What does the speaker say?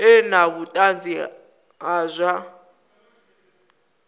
ḓe na vhuṱanzi ha zwa